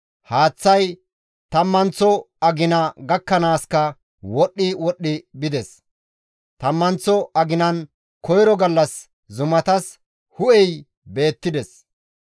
Haaththay tammanththo agina gakkanaaska wodhdhi wodhdhi bides; tammanththo aginan koyro gallas zumatas hu7ey beettides.